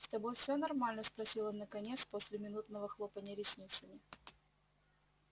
с тобой всё нормально спросил он наконец после минутного хлопанья ресницами